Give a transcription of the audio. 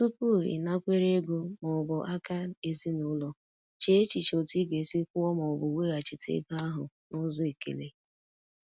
Tupu ịnakwere ego ma ọ bụ aka ezinụlọ, chee echiche otu ị ga-esi kwụọ ma ọ bụ weghachite ego ahụ n’ụzọ ekele.